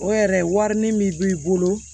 O yɛrɛ wari ni min b'i bolo